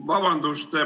Vabandust!